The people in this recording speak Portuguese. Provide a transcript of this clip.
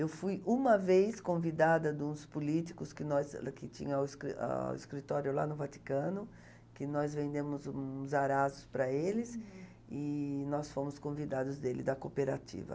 Eu fui uma vez convidada de uns políticos que nós, lá que tinha o escri ãh o escritório lá no Vaticano, que nós vendemos uns arazos para eles, e nós fomos convidados deles, da cooperativa.